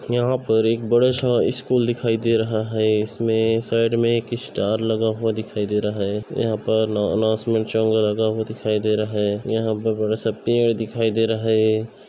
यहॉं पर एक बड़ा सा इस्कूल दिखाई दे रहा है इसमें साइड मैं एक इस्टार लगा हुआ दिखाई दे रहा है यहाँ पर न अनाउंसमेंट चंगा लगा हुआ दिखाई दे रहा है यहाँ पर बड़ा सा पेड़ दिखाई दे रहा हैं।